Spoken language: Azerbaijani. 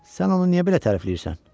Sən onu niyə belə tərifləyirsən?